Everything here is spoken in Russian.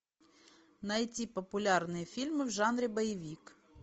найти популярные фильмы в жанре боевик